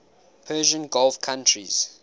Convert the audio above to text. persian gulf countries